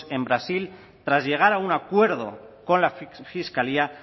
en brasil tras llegar a un acuerdo con la fiscalía